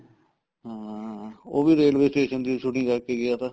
ਹਾਂ ਉਹ ਵੀ railway station ਦੀ shooting ਕਰਕੇ ਗਿਆ ਤਾ